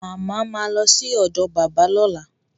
Mama ma lọ sí ọ̀dọ̀ bàbá lọ́la